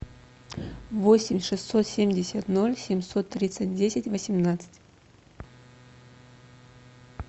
восемь шестьсот семьдесят ноль семьсот тридцать десять восемнадцать